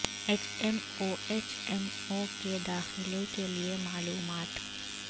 H M O H M O کے داخلہ کے لئے معلومات